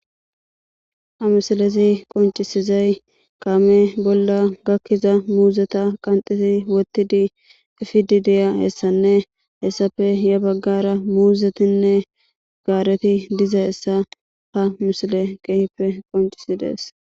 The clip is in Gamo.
Ha misalezi qoncisizay kaame bolla gakkiza muuzeta qanxidi wottidi efidi deya hessanne hessafe ya baggara muuzetinne gaareti diza hessa ha misile qeehippe qoncisidees